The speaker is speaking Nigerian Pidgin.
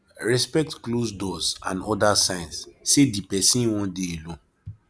respect closed doors and oda signs sey di person wan dey alone